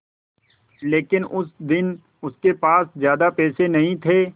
लेकिन उस दिन उसके पास ज्यादा पैसे नहीं थे